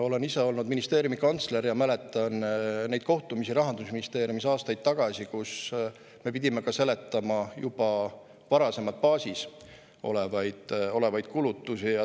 Olen ise olnud ministeeriumi kantsler ja mäletan neid kohtumisi Rahandusministeeriumis – aastaid tagasi –, kus me pidime ka seletama juba varasemalt baasis olevaid kulutusi.